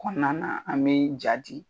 Kɔnɔna na an bɛ ja di